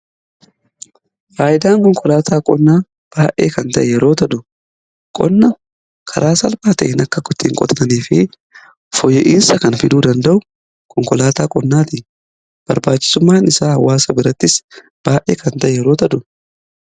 Faayidaan konkolaataa qonnaa baay'ee kan ta'e yeroo ta'u, qonna karaa salphaa ta'een akka qotatanii fi foyya'iinsa kan fiduu danda'u konkolaataa qonnaa ti. Barbaachisummaan isaa hawaasa birattis baay'ee kan ta'e yeroo ta'udha.